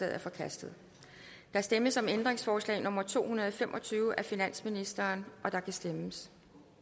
er forkastet der stemmes om ændringsforslag nummer to hundrede og fem og tyve af finansministeren og der kan stemmes